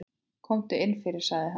Komdu inn fyrir, sagði hann.